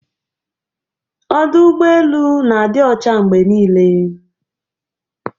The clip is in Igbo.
Ọdụ ụgbọ elu na-adị ọcha mgbe niile.